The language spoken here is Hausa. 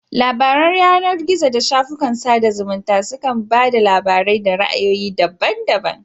Labaran yanar gizo da shafukan sada zumunta su kan ba da labarai da ra'ayoyi daban daban.